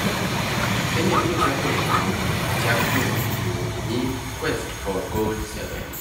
Kenya biro chako ikruok e chak dwe mabiro e nyim Quest for Gold 7s.